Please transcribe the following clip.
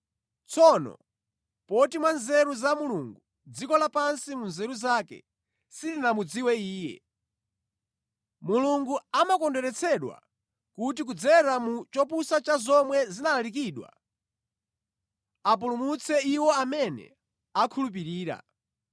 Tsono poti mwa nzeru za Mulungu dziko lapansi mu nzeru zake silinamudziwe Iye, Mulungu amakondweretsedwa kuti kudzera mu chopusa cha zomwe zinalalikidwa apulumutse iwo amene akhulupirira.